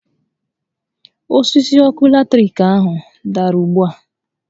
Osisi ọkụ latiriki ahụ dàrà ugbu a